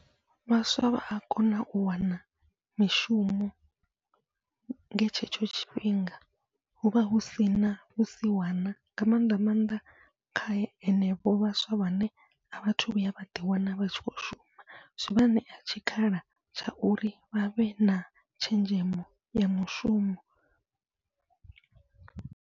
Vhaswa vha ya kona u wana mishumo nga tshetsho tshifhinga, huvha husina vhusiwana nga maanḓa maanḓa kha henefho vhaswa vhane a vhathu vhuya vhaḓi wana vha tshi khou shuma, zwivha ṋea tshikhala tsha uri vhavhe na tshenzhemo ya mushumo.